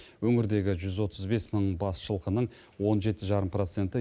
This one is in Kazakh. өңірдегі жүз отыз бес мың бас жылқының он жеті жарым проценті